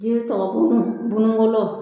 Jiri tɔgɔ bunbunbolo